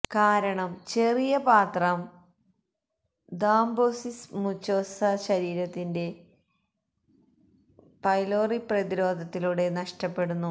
കാരണം ചെറിയ പാത്രം ഥ്രൊംബൊസിസ് മുചൊസ ശരീരത്തിന്റെ ഹെലിചൊബച്തെര് പൈലോറി പ്രതിരോധത്തിലൂടെ നഷ്ടപ്പെടുന്നു